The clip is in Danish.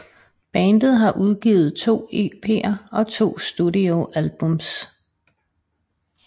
Bandet har udgivet to EPer og to studio albums